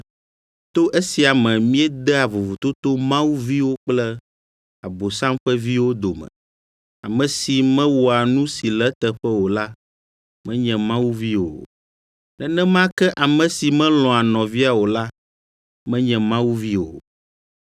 To esia me míedea vovototo Mawu viwo kple Abosam ƒe viwo dome. Ame si mewɔa nu si le eteƒe o la menye Mawu vi o. Nenema ke ame si melɔ̃a nɔvia o la menye Mawu vi o.